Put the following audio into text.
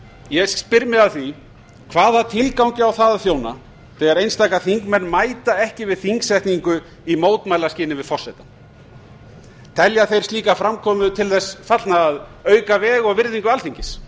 ég spyr mig að því hvaða tilgangi á það að þjóna þegar einstaka þingmenn mæta ekki við þingsetningu í mótmælaskyni við forsetann telja þeir slíka framkomu til þess fallna að auka veg og virðingu alþingis